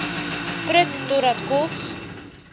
prut totdat kos